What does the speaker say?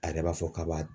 A yɛrɛ b'a fɔ k'a b'a